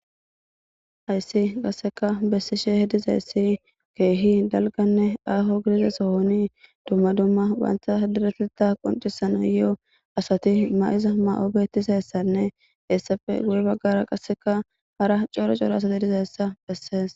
Hayssi qassekka bessishe dizayssi keehi dalgganne aho bessa giza Sohon dumma dumma bantta issipeteththa qonccisanayo asati mayiza Mayo bettizayssanne hessappe guye baggara qassekka hara cora cora asati dizayssa bessees.